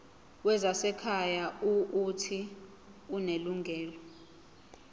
wezasekhaya uuthi unelungelo